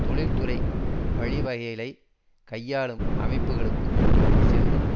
தொழில் துறை வழிவகைகளைக் கையாளும் அமைப்புக்குக்களுக்கு மட்டும் செல்லும்